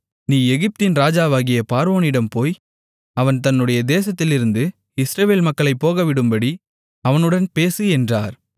நீ எகிப்தின் ராஜாவாகிய பார்வோனிடம் போய் அவன் தன்னுடைய தேசத்திலிருந்து இஸ்ரவேல் மக்களைப் போகவிடும்படி அவனுடன் பேசு என்றார்